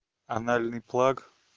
анальный плаг